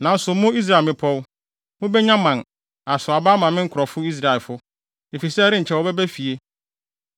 “ ‘Nanso mo, Israel mmepɔw, mubenya mman, asow aba ama me nkurɔfo Israelfo, efisɛ ɛrenkyɛ wɔbɛba fie.